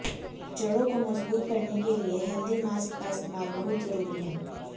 जड़ों को मज़बूत करने के लिए हेल्दी मास्क का इस्तेमाल बहुत ज़रूरी है